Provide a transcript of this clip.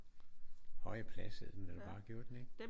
Høje plads hed den vel bare gjorde den ikke?